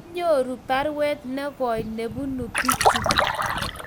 kianyoru baruet ne goi nebunu biik chu